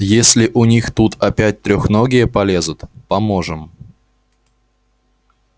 если у них тут опять трехногие полезут поможем